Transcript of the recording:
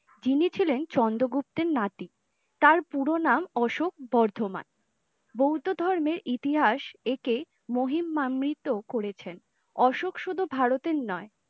যিনি ছিলেন চন্দ্রগুপ্তের নাতি তার পুরো নাম অশোক বর্ধমান। বৌধো ধর্মের ইতিহাস একে মহিমান্বিত করেছে অশোক শুধু ভারতের নয়